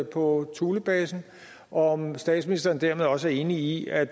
på thulebasen og om statsministeren dermed også er enig i at